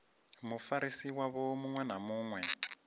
mufarisi wavho muṅwe na muṅwe